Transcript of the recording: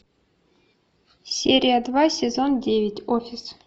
серия два сезон девять офис